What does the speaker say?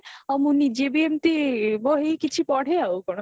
ଆଉ ମୁଁ ନିଜେ ବି ଏମତି ବହି କିଛି ପଢେ ଆଉ କଣ